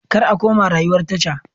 Kar a koma rayuwar tasha.